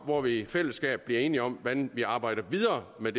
hvor vi i fællesskab bliver enige om hvordan vi arbejder videre med